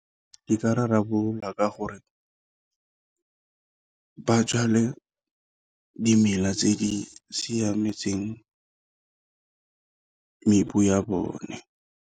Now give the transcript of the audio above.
E ka rarabololwa ka gore ba jale dimela tse di siametseng ya bone.